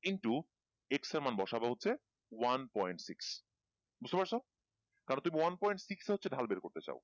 into X এর মান বসবা হচ্ছে one point six বুঝতে পারছো তাহলে তুমি one point six এ হচ্ছে ঢাল বের করতে চাও